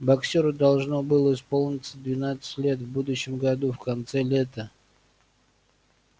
боксёру должно было исполниться двенадцать лет в будущем году в конце лета